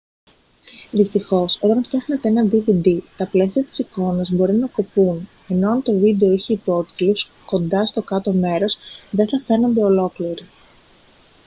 δυστυχώς όταν φτιάχνετε ένα dvd τα πλαίσια της εικόνας μπορεί να κοπούν ενώ εάν το βίντεο είχε υπότιτλους κοντά στο κάτω μέρος δεν θα φαίνονται ολόκληροι